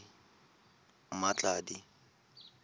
mmatladi